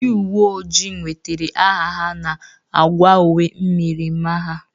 Ndị uwe oji nwetara aha ha n'agwa uwe myirimara ha.